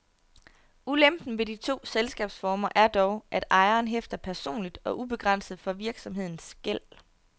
Ulempen ved de to selskabsformer er dog, at ejeren hæfter personligt og ubegrænset for virksomhedens gæld.